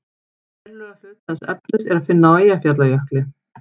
verulegan hluta þess efnis er að finna á eyjafjallajökli